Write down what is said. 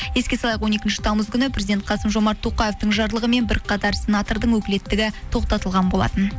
еске салайық он екінші тамыз күні президент қасым жомарт тоқаевтың жарлығымен бірқатар сенатордың өкілеттігі тоқтатылған болатын